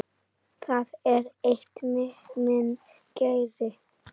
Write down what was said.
Það er eitt, minn kæri.